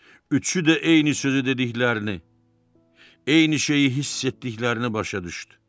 Üçü də eyni sözü dediklərini, eyni şeyi hiss etdiklərini başa düşdü.